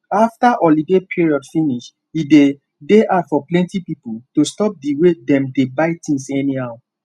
after holiday period finish e dey dey hard for plenty people to stop the way dem dey buy things anyhow